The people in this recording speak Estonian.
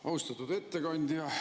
Austatud ettekandja!